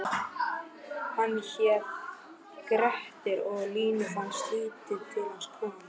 Hann hét Grettir og Línu fannst lítið til hans koma: